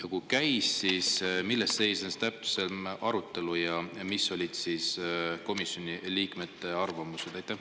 Kui käis, siis milles seisnes täpsem arutelu ja missugune oli komisjoni liikmete arvamus?